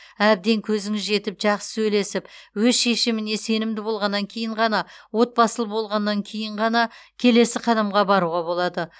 әбден көзіңіз жетіп жақсы сөйлесіп өз шешіміне сенімді болғаннан кейін ғана отбасылы болғаннан кейін ғана келесі қадамға баруға болады